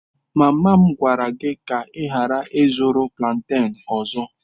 Mama m gwara gị ka ị ghara ịzụrụ plantain ọzọ.